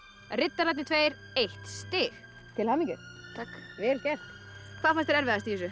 riddararnir tveir eitt stig til hamingju takk vel gert það fannst þér erfiðast í þessu